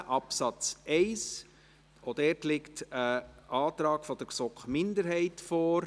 Auch hier liegt ein Antrag der GSoK-Minderheit vor.